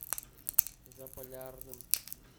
заполярным